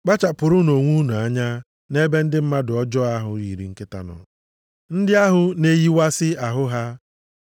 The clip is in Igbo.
Kpachapụrụnụ onwe unu anya nʼebe ndị mmadụ ọjọọ ahụ yiri nkịta nọ. Ndị ahụ na-eyiwasị ahụ ha.